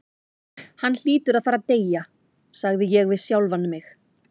Hann hlýtur að fara að deyja, sagði ég við sjálfan mig.